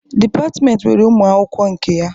Dịpatịmentị nwere ụmụ akwụkwọ nke ya.